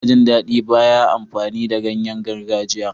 Ina jin daɗi bayan amfani da ganyen gargajiya.